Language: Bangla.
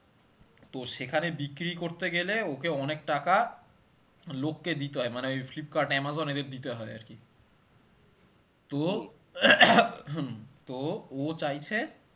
তো সেখানে বিক্রি করতে গেলে ওকে অনেক টাকা লোককে দিতে হয়, মানে ওই ফ্লিপকার্ট আমাজন এদের দিতে হয় আরকি হম তো ও চাইছে